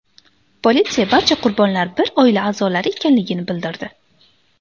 Politsiya barcha qurbonlar bir oila a’zolari ekanligini bildirdi.